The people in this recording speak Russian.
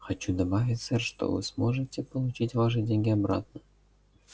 хочу добавить сэр что вы сможете получить ваши деньги обратно